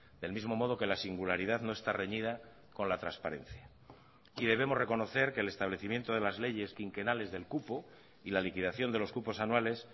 del mismo modo que la singularidad no está reñida con la transparencia y debemos reconocer que el establecimiento de las leyes quinquenales del cupo y la liquidación de los cupos anuales